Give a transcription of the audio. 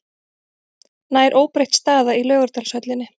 Nær óbreytt staða í Laugardalshöllinni